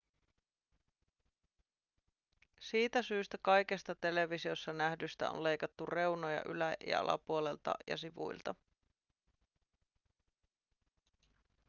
siitä syystä kaikesta televisiossa nähdystä on leikattu reunoja ylä- ja alapuolelta ja sivuilta